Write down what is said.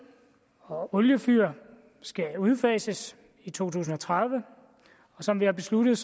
og oliefyr skal udfases i to tusind og tredive og som vi har besluttet